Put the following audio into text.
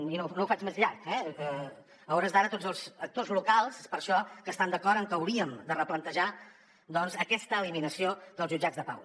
i no ho faig més llarg eh a hores d’ara tots els actors locals per això estan d’acord amb que hauríem de replantejar aquesta eliminació dels jutjats de pau